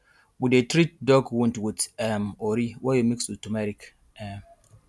we dey treat dog wound with um ori wey we mix with turmeric um